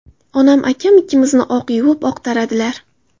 Onam akam ikkimizni oq yuvib, oq taradilar.